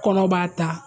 Kɔnɔ b'a ta